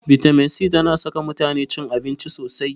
Bitamin c tana saka mutane cin abinci sosai.